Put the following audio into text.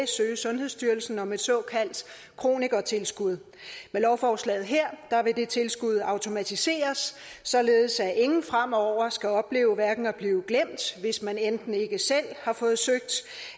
søge sundhedsstyrelsen om et såkaldt kronikertilskud med lovforslaget her vil det tilskud blive automatiseret således at ingen fremover skal opleve at blive glemt hvis man enten ikke selv har fået søgt